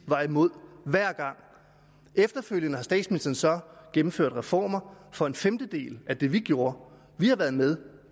var imod hver gang efterfølgende har statsministeren så gennemført reformer for en femtedel af det vi gjorde vi har været med